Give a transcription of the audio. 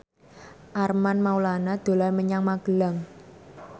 Armand Maulana dolan menyang Magelang